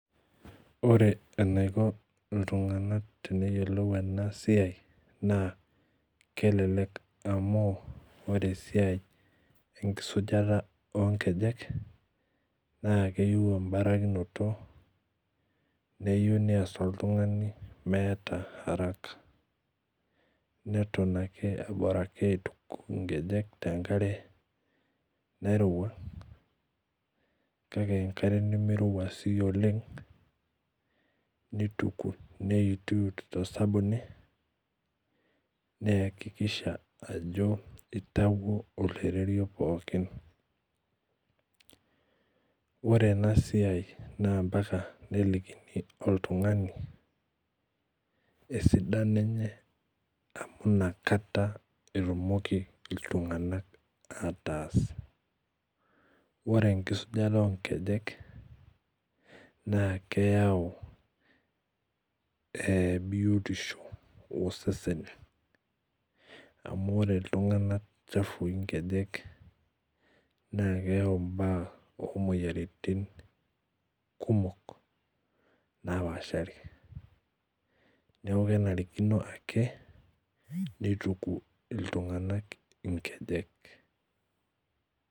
Orebenaiko ltunganak teneyiolou enasiai na kelelek amu pre esiai enkisujata onkejek nayieu embarikinoto nayieu neas oltungani meeta araka neton ake aitobiraki aituku nkejek tenkarw nairowua kakw enkare nimirowua oleng nitukubneyituyut tosabuni niakikisha ajo itawuo oloiterio pooki ore enasia na mbaka nelikini oltungani esidano enye amu nakata etumoki ltunganak ataas ore enkisujata onkejek na keyau biotisho osesen amu ore ltunganak chafui nkejek na keyau imoyiaritin kumok napaashari neaku kenarikino akenituku ltunganak nkejek.